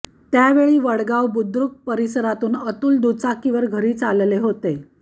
त्यावेळी वडगाव बुद्रूक परिसरातून अतुल दुचाकीवर घरी चालले होते